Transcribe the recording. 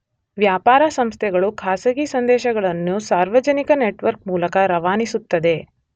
ವ್ಯಾಪಾರ ಸಂಸ್ಥೆಗಳು ಖಾಸಗಿ ಸಂದೇಶಗಳನ್ನು ಸಾರ್ವಜನಿಕ ನೆಟ್ವರ್ಕ್ ಮೂಲಕ ರವಾನಿಸುತ್ತದೆ